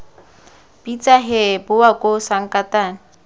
bitsa hee bowa koo sankatane